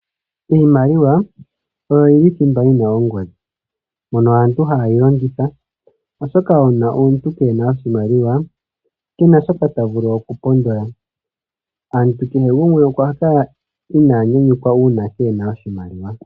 Iimaliwa oyo yi li thimba yi na ongodhi, mono aantu ha yi longitha, oshoka uuna omuntu kee na oshimaliwa, ke na shoka ta vulu oku pondola. Aantu kehe gumwe okwa fa inaa nyanyukwa uuna kee he na oshimaliwa.